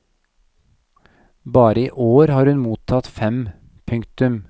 Bare i år har hun mottatt fem. punktum